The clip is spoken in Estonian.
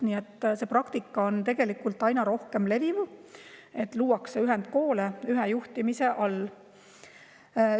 Nii et see praktika, et luuakse ühendkoole ühe juhtimise all, levib tegelikult aina rohkem.